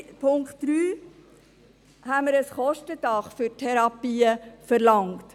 Zum Punkt 3: Dort haben wir ein Kostendach für Therapien verlangt.